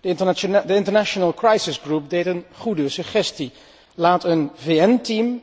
De International crisis group deed een goede suggestie laat een VN team